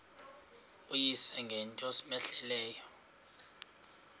uyise ngento cmehleleyo